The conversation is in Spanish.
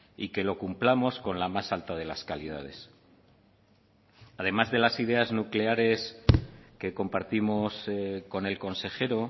y que lo cumplamos con la más alta de las calidades además de las ideas nucleares que compartimos con el consejero